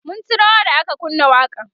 mun ci rawa da aka kunna waƙan